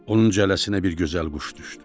Onun cələsinə bir gözəl quş düşdü.